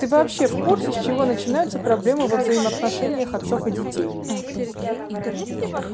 ты вообще в курсе с чего начинаются проблемы во взаимоотношениях отцов и детей